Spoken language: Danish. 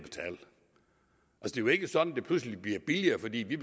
jo ikke sådan at det pludselig bliver billigere fordi vi